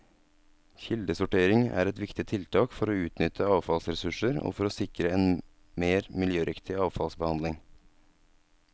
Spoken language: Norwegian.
Kildesortering er et viktig tiltak for å utnytte avfallsressurser og for å sikre en mer miljøriktig avfallsbehandling.